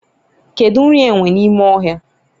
kedu nri enwe n'ime ohia?